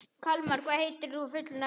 Kalmara, hvað heitir þú fullu nafni?